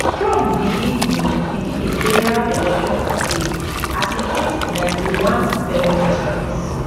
trump begin di begin di general election campaign as e face 91 felony charges